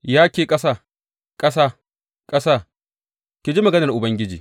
Ya ke ƙasa, ƙasa, ƙasa, ki ji maganar Ubangiji!